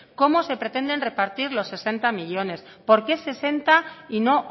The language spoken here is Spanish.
cómo se pretenden repartir los sesenta millónes por qué sesenta y no